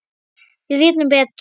Við vitum betur